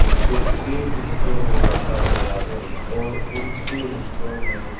जिसे छे हिस्सों में बांटा गया है और उन छे हिस्सों में --